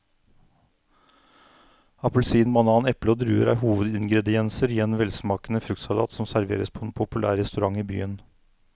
Appelsin, banan, eple og druer er hovedingredienser i en velsmakende fruktsalat som serveres på en populær restaurant i byen.